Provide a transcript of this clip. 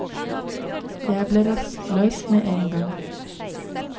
Jeg ble rastløs med en gang.